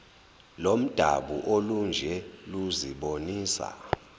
lomdabu olunje luzibonisa